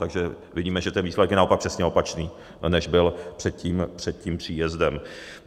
Takže vidíme, že ten výsledek je naopak přesně opačný, než byl před tím příjezdem.